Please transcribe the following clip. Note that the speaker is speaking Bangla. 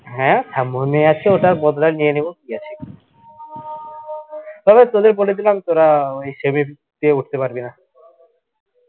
হ্যা তা মনে আছে ওটার বদলা নিয়ে নিবো তবে তোদের বলে দিলাম তোরা অই semi তে উঠতে পারবি না